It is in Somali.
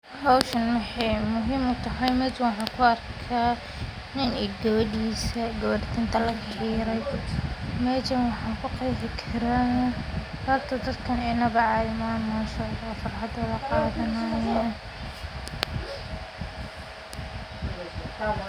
Howshan maxee muhiim utahay meshan waxan ku arka nin iyo gawadisa, gewer tintaa laga xire, meshan waxan ku qeexi karaa habka dadkan inawa cadhi maaha manshaallah farxadodha qadhanayo.